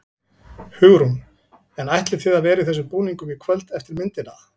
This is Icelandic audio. Hugrún: En ætlið þið að vera í þessum búningum í kvöld eftir myndina?